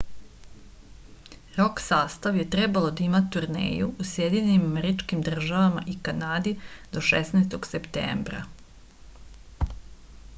rok sastav je trebalo da ima turneju u sjedinjenim američkim državama i kanadi do 16. septembra